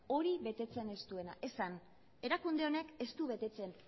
hori betetzen ez duena esan erakunde honek ez du betetzen